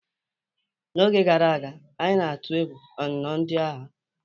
N'oge gara aga, anyị na-atụ egwu ọnụnọ ndị agha.